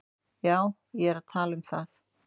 Já, ég er að tala um það.